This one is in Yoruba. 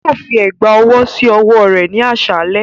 Yoo fi ẹgba ọwọ si ọwọ rẹ ni aṣalẹ.